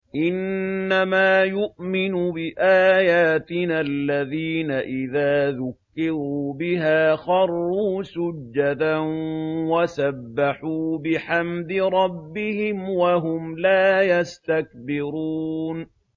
إِنَّمَا يُؤْمِنُ بِآيَاتِنَا الَّذِينَ إِذَا ذُكِّرُوا بِهَا خَرُّوا سُجَّدًا وَسَبَّحُوا بِحَمْدِ رَبِّهِمْ وَهُمْ لَا يَسْتَكْبِرُونَ ۩